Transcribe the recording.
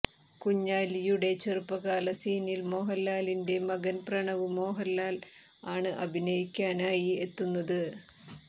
കുഞ്ഞാലിയുടെ ചെറുപ്പകാല സീനിൽ മോഹൻലാലിൻറെ മകൻ പ്രണവ് മോഹൻലാൽ ആണ് അഭിനയിക്കാനായി എത്തുന്നത്